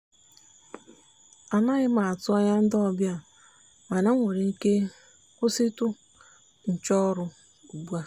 anaghị m atụ anya ndị ọbịa mana m nwere ike kwụsịtụ nchọ ọrụ ugbu a.